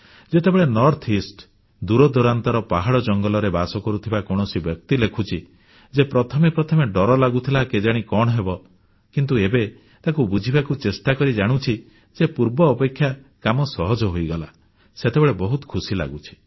ଯେତେବେଳେ ଉତ୍ତରପୂର୍ବାଞ୍ଚଳ ଦୂର ଦୂରାନ୍ତର ପାହାଡ଼ ଜଙ୍ଗଲରେ ବାସ କରୁଥିବା କୌଣସି ବ୍ୟକ୍ତି ଲେଖୁଛି ଯେ ପ୍ରଥମେ ପ୍ରଥମେ ଡର ଲାଗୁଥିଲା କେଜାଣି କଣ ହେବ କିନ୍ତୁ ଏବେ ତାକୁ ବୁଝିବାକୁ ଚେଷ୍ଟାକରି ଜାଣୁଛି ଯେ ପୂର୍ବ ଅପେକ୍ଷା କାମ ସହଜ ହୋଇଗଲା ସେତେବେଳେ ଖୁସି ଲାଗେ